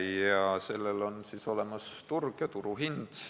Ja neil on olemas turg ja turuhind.